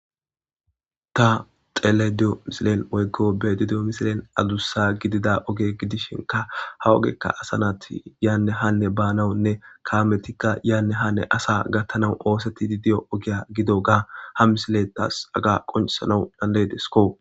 Ta xeelediyo misilen woyggo bedidiyo misilen adussa gidida oge gidishinka ha ogekka asa naati yaanne hanne baanawunne kaametikka yaanne hanne asa gattanaw oosetti di diyo ogiya gido ga ha misile taas aga qoncisanau dandedesko.